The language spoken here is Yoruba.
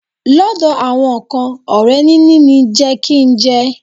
Lọ́dọ̀ àwọn kan, ọrẹ níní ni jẹ kí n jẹ.